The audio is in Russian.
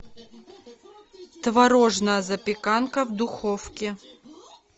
творожная запеканка в духовке